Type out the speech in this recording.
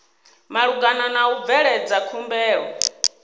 malugana na u bveledza khumbelo